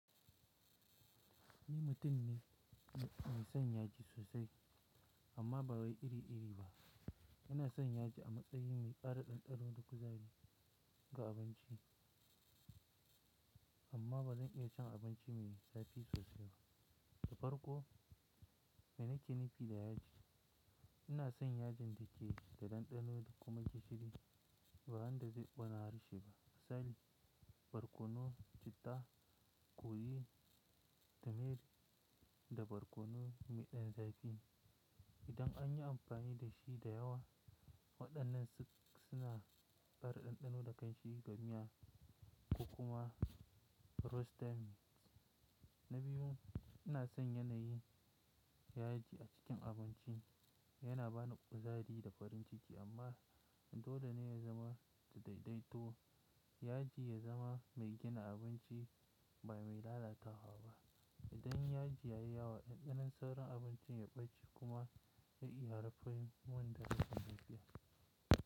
Ni mutum ne mai son yaji sosai amma ba wai iri-iri ba. Ina son yaji a matsayin mai ƙara ɗanɗano da kuzari ga abinci amma ba zan iya cin abinci mai zafi sosai ba. Da farko, mai na ke nufi da yaji? Ina son yajin da ke da ɗanɗano da kuma gishiri ba wanda zai ƙona harshe ba. Misali, barkono, citta, kori, tumiri, da barkono mai ɗan zafi. Idan an yi amfani da shi da yawa, waɗannan suna ƙara ɗanɗano da ƙlanshi ga miya ko kuma roasted meats. Na biyu, ina son yanayin yaji a cikin abinci yana ba ni kuzari da farin ciki amma dole ne ya zama daidaito. Yaji ya zama mai gina abinci ba mai lalatawa ba. Idan yaji ya yi yawa, ɗanɗanon sauran abincin ya ɓace kuma ya iya haifar mun da rashin lafiya.